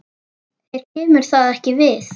Þér kemur það ekki við.